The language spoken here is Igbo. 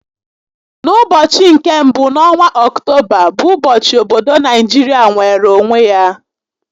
N'ụbọchị nke mbụ n'ọnwa Ọctoba bụ ụbọchị obodo nigeria nweere onwe ya